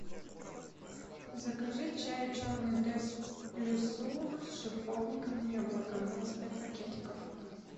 закажи чай черный тесс плюсур с шиповником и яблоком двадцать пять пакетиков